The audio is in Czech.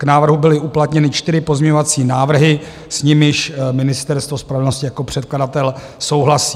K návrhu byly uplatněny čtyři pozměňovací návrhy, s nimiž Ministerstvo spravedlnosti jako předkladatel souhlasí.